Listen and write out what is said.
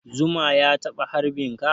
Zuma ya taɓa harbin ka?